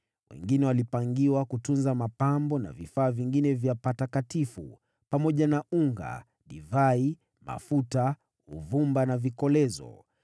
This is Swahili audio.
Wengine walipangiwa kutunza mapambo na vifaa vingine vya patakatifu, pamoja na unga, divai, mafuta, uvumba na vikolezo.